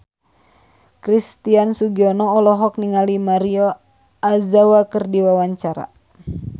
Christian Sugiono olohok ningali Maria Ozawa keur diwawancara